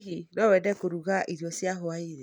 Hihi no wende kũruga irio cia hwaĩ-inĩ?